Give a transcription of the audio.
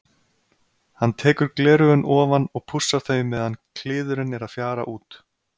Hann tekur gleraugun ofan og pússar þau meðan kliðurinn er að fjara út.